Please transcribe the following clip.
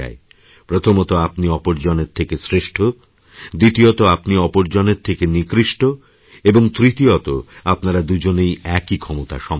প্রথমত আপনি অপরজনের থেকে শ্রেষ্ঠদ্বিতীয়ত আপনি অপর জনের থেকে নিকৃষ্ট এবং তৃতীয়ত আপনারা দুজনেই একই ক্ষমতাসম্পন্ন